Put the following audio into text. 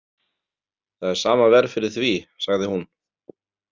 Það er sama verð fyrir því, sagði hún.